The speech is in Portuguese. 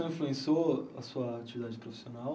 influenciou a sua atividade profissional?